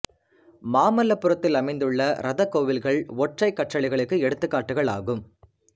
மாமல்லபுரத்தில் அமைந்துள்ள இரதக் கோயில்கள் ஒற்றைக் கற்றளிகளுக்கு எடுத்துக் காட்டுகள் ஆகும்